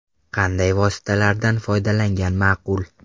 Qanday vositalardan foydalangan maqul?